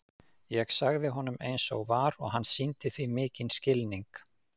Ég sagði honum eins og var og hann sýndi því mikinn skilning.